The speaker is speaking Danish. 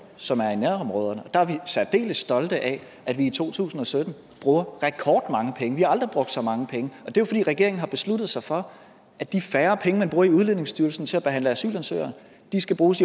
som er i nærområderne og der er vi særdeles stolte af at vi i to tusind og sytten bruger rekordmange penge vi har aldrig brugt så mange penge og det er jo fordi regeringen har besluttet sig for at de færre penge man bruger i udlændingestyrelsen til at behandle asylansøgninger skal bruges